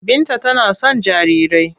Binta tana son jarirai.